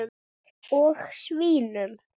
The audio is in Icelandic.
Og svínum.